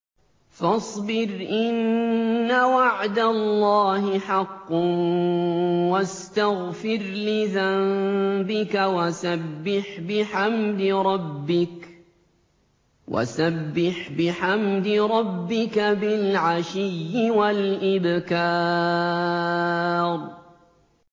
فَاصْبِرْ إِنَّ وَعْدَ اللَّهِ حَقٌّ وَاسْتَغْفِرْ لِذَنبِكَ وَسَبِّحْ بِحَمْدِ رَبِّكَ بِالْعَشِيِّ وَالْإِبْكَارِ